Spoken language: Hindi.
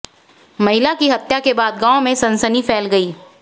महिला की हत्या के बाद गांव में सनसनी फैल गई